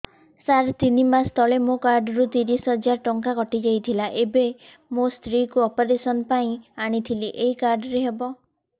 ସାର ତିନି ମାସ ତଳେ ମୋ କାର୍ଡ ରୁ ତିରିଶ ହଜାର ଟଙ୍କା କଟିଯାଇଥିଲା ଏବେ ମୋ ସ୍ତ୍ରୀ କୁ ଅପେରସନ ପାଇଁ ଆଣିଥିଲି ଏଇ କାର୍ଡ ରେ ହବ